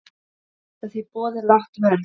Geta því boðið lágt verð.